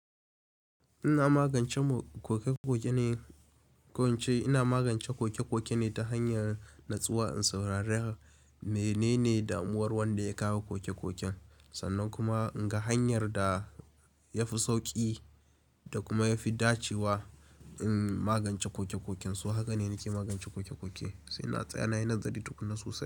Ina magance koke-koke ne, ko wace ina magance koke-koke ne ta hanyar nutsuwa in saurari menene damuwar wanda ya kawo koke-koken. Sannan kuma ga hanyar da ya fi sauki da kuma ya fi dacewa in magance koke-koken. So haka ne nake magance koke-koke, sai na tsaya na yi nazari tukuna sosai.